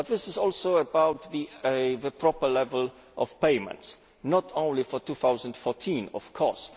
This is also about the proper level of payments, not only for 2014, of course